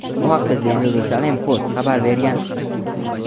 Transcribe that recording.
Bu haqda "The Jerusalem Post" xabar bergan.